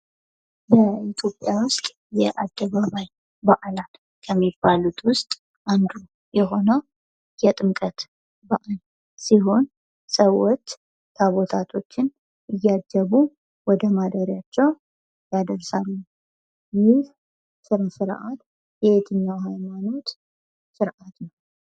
በኢትዮጵያ ውስጥ የአደባባይ በአላት ከሚባሉት ውስጥ አንዱ የሆነው የጥምቀት በአል ሲሆን ሰዎች ታቦታቶችን እያጀቡ ወደ ማደሪያቸው ያደርሳሉ። ይህ ስነስርዓት የየትኛው ሃይማኖት ስርዓት ነው?